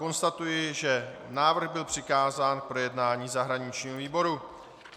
Konstatuji, že návrh byl přikázán k projednání zahraničnímu výboru.